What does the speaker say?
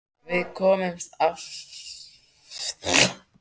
Við komumst af með okkar ráðum.